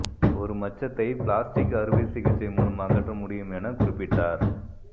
ஒரு மச்சத்தை பிளாஸ்டிக் அறுவை சிகிச்சை மூலம் அகற்ற முடியும் என குறிப்பிட்டார்